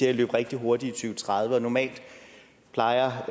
at løbe rigtig hurtigt i og tredive og normalt plejer